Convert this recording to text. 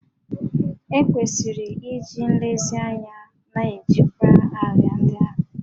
E kwesịrị iji nlezianya na-ejikwa árịà ndị ahụ